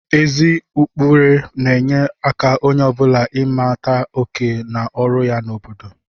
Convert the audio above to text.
Ezi ụkpụrụ na-enye aka onye ọ bụla ịmata oké na ọrụ ya n'obodo